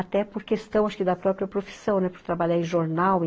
Até por questão da própria profissão, né, por trabalhar em jornal.